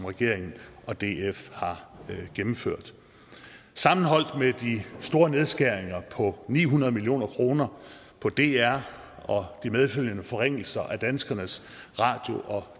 regeringen og df har gennemført sammenholdt med de store nedskæringer på ni hundrede million kroner på dr og de medfølgende forringelser af danskernes radio og